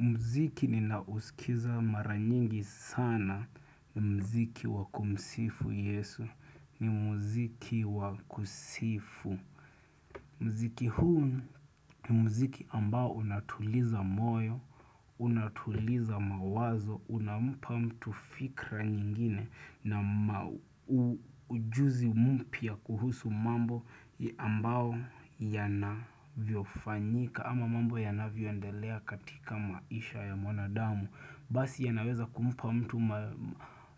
Mziki ninao usikiza mara nyingi sana ni mziki wakumsifu yesu ni mziki wakusifu. Mziki huu ni mziki ambao unatuliza moyo, unatuliza mawazo, unampa mtu fikra nyingine na ujuzi mmpya kuhusu mambo ambao yanavyo fanyika. Ama mambo yanavyoendelea katika maisha ya mwanadamu. Basi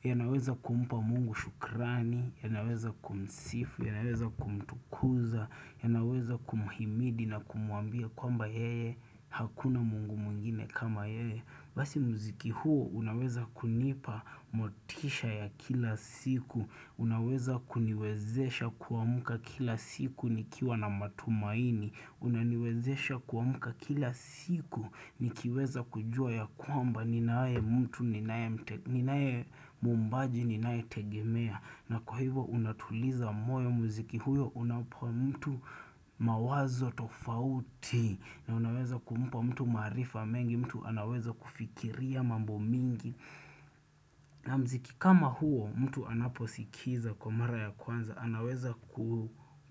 yanaweza kumpa mungu shukrani ya naweza kumsifu, ya naweza kumtukuza ya naweza kumuhimidi na kumwambia kwamba yeye Hakuna mungu mwingine kama yeye basi mziki huo unaweza kunipa motisha ya kila siku Unaweza kuniwezesha kuamka kila siku nikiwa na matumaini Unaniwezesha kuamuka kila siku nikiweza kujua ya kwamba ninaye mtu ninaye mwombaji ninae tegemea na kwa hivyo unatuliza moyo mziki huyo unapua mtu mawazo tofauti na unaweza kumpa mtu marifa mengi mtu anaweza kufikiria mambo mingi na mziki kama huo mtu anaposikiza kwa mara ya kwanza anaweza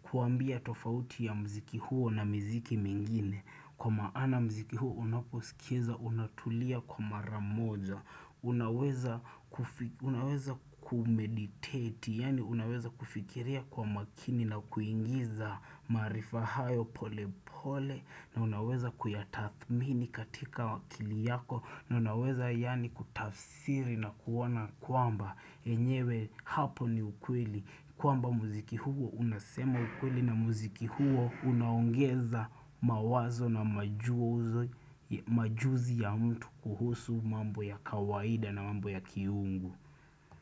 kuambia tofauti ya mziki huo na mziki mwingine kwa maana mziki huo unaposikizwa, unatulia kwa maramoja unaweza kumeditate, yani unaweza kufikiria kwa makini na kuingiza maarifa hayo pole pole na unaweza kuyatathmini katika akili yako na unaweza yani kutafsiri na kuona kwamba enyewe hapo ni ukweli kwamba muziki huo unasema ukweli na muziki huo unaongeza mawazo na majuzi ya mtu kuhusu mambo ya kawaida na mambo ya kiungu.